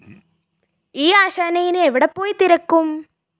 ഈ ആശാനെ ഇനി എവിടെപ്പോയി തിരക്കും?